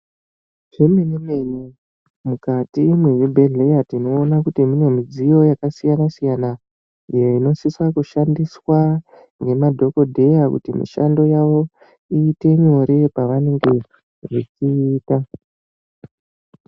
Zvemene-mene mukati mezvibhedhlera tinoone kuti mune midziyo yakasiyana-siyana iyo inosisa kushandiswa ngemadhokodheya kuti mishando yavo iite nyore pavanenge vechiita.